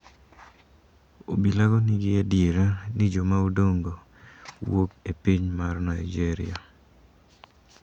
Obilago nigi adiera ni jomaodong` go wuok e piny mar Nigeria.